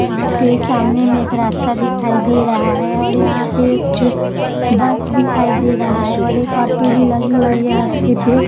यहाँ पे सामने में एक रास्ता दिखाई दे रहा है और यहाँ पे एक बस दिखाई दे रहा है और एक ऑटो भी लगी हुई है रास्ते पे।